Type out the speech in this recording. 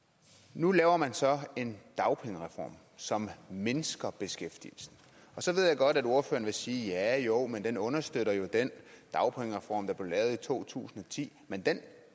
nu laver man så en dagpengereform som mindsker beskæftigelsen og så ved jeg godt at ordføreren vil sige ja jo men den understøtter jo den dagpengereform der blev lavet i to tusind og ti men den